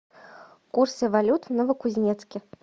курсы валют в новокузнецке